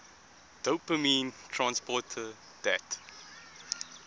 dopamine transporter dat